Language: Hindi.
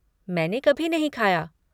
मैंने कभी नहीं खाया।